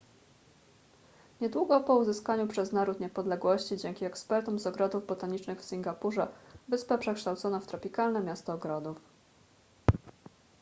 niedługo po uzyskaniu przez naród niepodległości dzięki ekspertom z ogrodów botanicznych w singapurze wyspę przekształcono w tropikalne miasto ogrodów